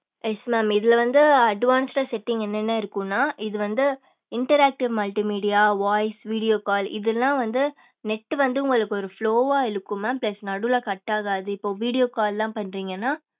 yes mam இதுல வந்து advance setting என்னென்ன இருக்கும்னா இது வந்து interactive multi media voice video call இதெல்லாம் வந்து net வந்து உங்களுக்கு ஒரு slow வா இழுக்கும் mam plus நடுவுல cut ஆகாது இப்ப video call ல்லாம் பண்றீங்கன்னா